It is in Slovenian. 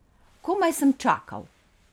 Komaj sem čakal.